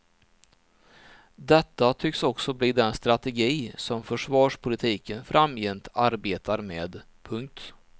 Detta tycks också bli den strategi som försvarspolitiken framgent arbetar med. punkt